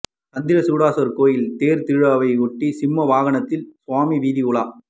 சந்திரசூடேஸ்வரர் கோயில் தேர் திருவிழாவையொட்டி சிம்ம வாகனத்தில் சுவாமி வீதி உலா